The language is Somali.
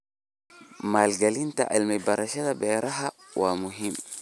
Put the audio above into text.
Maalgelinta cilmi-baarista beeraha waa muhiim.